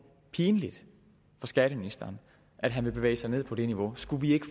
pinligt for skatteministeren at han vil bevæge sig ned på det niveau skulle vi ikke